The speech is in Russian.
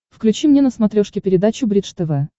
включи мне на смотрешке передачу бридж тв